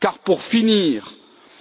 Car pour finir,